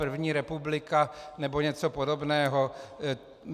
První republika nebo něco podobného.